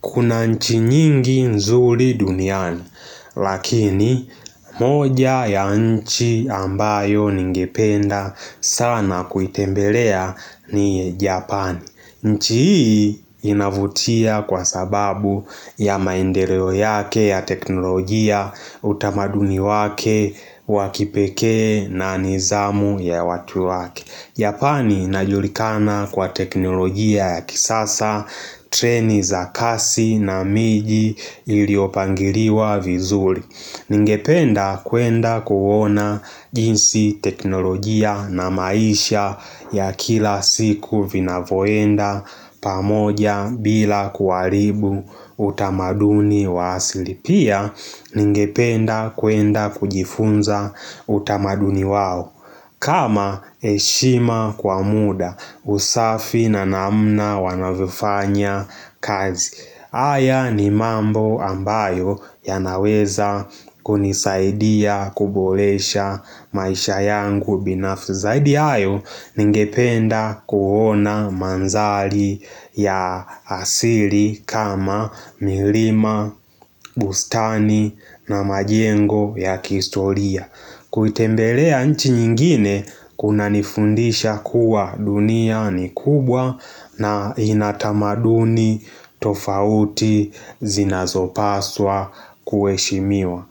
Kuna nchi nyingi nzuri duniani, lakini moja ya nchi ambayo ningependa sana kuitembelea ni Japani. Nchi hii inavutia kwa sababu ya maendeleo yake ya teknolojia utamaduni wake, wa kipekee na nidhamu ya watu wake. Japani inajulikana kwa teknolojia ya kisasa, treni za kasi na miji iliopangiliwa vizuri Ningependa kwenda kuona jinsi teknolojia na maisha ya kila siku vinavoenda pamoja bila kuharibu utamaduni wa asili Pia, ningependa kwenda kujifunza utamaduni wao kama heshima kwa muda usafi na namna wanavyofanya kazi haya ni mambo ambayo yanaweza kunisaidia kuboresha maisha yangu binafsi zaidi ya hayo ningependa kuona mandhari ya asili kama milima, bustani na majengo ya kihistoria kuitembelea nchi nyingine kunanifundisha kuwa dunia ni kubwa na ina tamaduni tofauti zinazopaswa kuheshimiwa.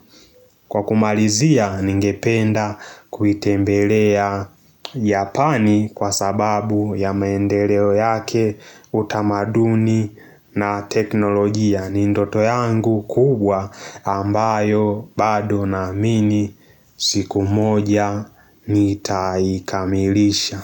Kwa kumalizia ningependa kuitembelea Japani kwa sababu ya maendeleo yake utamaduni na teknolojia ni ndoto yangu kubwa ambayo bado naamini siku moja nitaikamilisha.